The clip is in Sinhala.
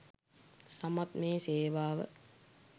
සමත් මේ සේවාව